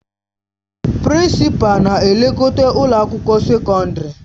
Prinsịpalu na-elekọta ụlọ akwụkwọ sekọndrị.